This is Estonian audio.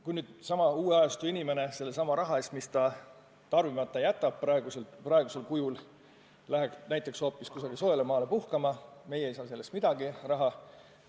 Kui seesama uue ajastu inimene läheb sellesama raha eest, mis ta praegusel kujul tarbimisest loobudes kokku hoiab, kuskile soojale maale puhkama, siis meie ei saa sellest mingeid makse.